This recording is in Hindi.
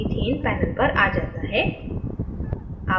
methane panelपर आ जाता है